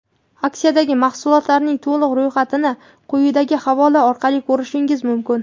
Aksiyadagi mahsulotlarning to‘liq ro‘yxatini quyidagi havola orqali ko‘rishingiz mumkin.